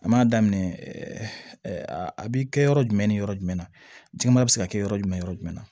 An m'a daminɛ a bi kɛ yɔrɔ jumɛn ni yɔrɔ jumɛn jima be se ka kɛ yɔrɔ jumɛn yɔrɔ jumɛn na